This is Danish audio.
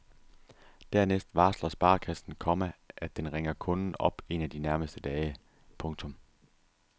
Dernæst varsler sparekassen, komma at den ringer kunden op en af de nærmeste dage. punktum